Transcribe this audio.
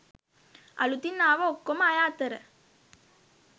අලුතින් ආව ඔක්කොම අය අතර